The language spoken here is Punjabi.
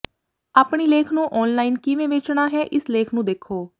ਆਪਣੀ ਲੇਖ ਨੂੰ ਔਨਲਾਈਨ ਕਿਵੇਂ ਵੇਚਣਾ ਹੈ ਇਸ ਲੇਖ ਨੂੰ ਦੇਖੋ